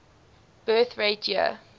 birth rate year